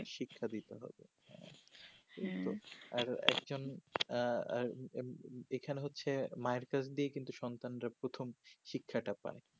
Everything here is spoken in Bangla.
শিক্ষা দিতে হবে হু আর একজন আঃ আঃ এখানে হচ্ছে মায়ের কল দিয়ে সন্তান প্রথম শিক্ষা টা পাই